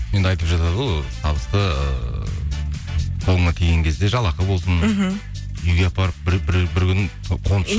енді айтып жатады ғой табысты ыыы қолыңа тиген кезде жалақы болсын мхм үйге апарып